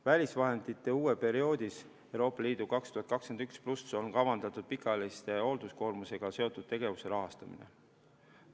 Välisvahendite uues perioodis on kavandatud pikaajalise hoolduskoormusega seotud tegevuste rahastamine.